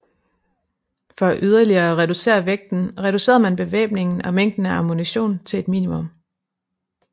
For yderligere at reducere vægten reducerede man bevæbningen og mængden af ammunition til et minimum